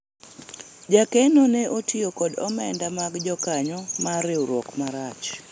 jakeno ne otiyo kod omenda mag jokanyo mar riwruok marach